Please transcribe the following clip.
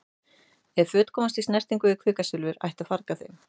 Ef föt komast í snertingu við kvikasilfur ætti að farga þeim.